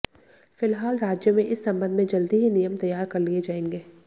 फिलहाल राज्य में इस संबंध में जल्दी ही नियम तैयार कर लिए जाएंगे